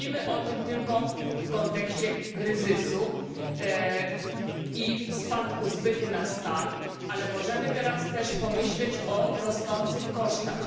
Mówimy o tym tylko w kontekście kryzysu i spadku zbytu na stal, ale możemy teraz też pomyśleć o rosnących kosztach.